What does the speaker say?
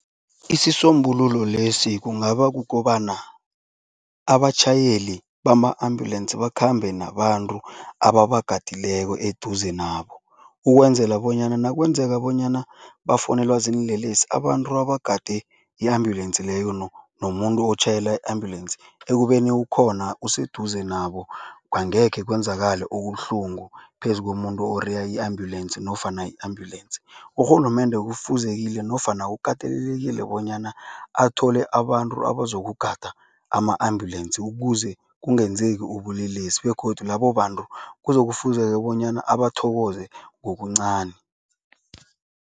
Isisombululo lesi kungaba kukobana, abatjhayeli bama-ambulensi bakhambe nabantu ababagadileko eduze nabo ukwenzela bonyana nakwenzeka bonyana bafowunelwa ziinlelesi, abantu abagade i-ambulensi leyo nomuntu otjhayela i-ambulensi, ekubeni ukhona useduze nabo, angekhe kwenzakale okubuhlungu phezu komuntu oreya i-ambulensi nofana i-ambulance. Urhulumende kufuzekile ukatelelekile bonyana athole abantu abazokugada ama-ambulensi ukuze kungenzeki ubulelesi begodu labo bantu kuzokufuzeka bonyana abathokoze ngokuncani.